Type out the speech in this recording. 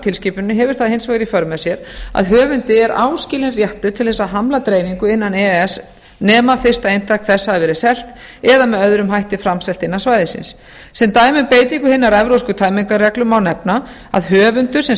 tilskipuninni hefur það hins vegar í för með sér að höfundi er áskilinn réttur til þess að hamla dreifingu nema fyrsta eintak þess hafi verið selt eða með öðrum hætti framselt innan svæðisins sem dæmi um beitingu hinnar evrópsku tæmingarreglu má nefna að höfundur sem